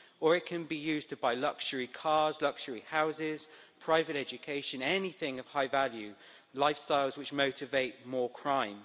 Or it can be used to buy luxury cars, luxury houses, private education, anything of high value lifestyles which motivate more crime.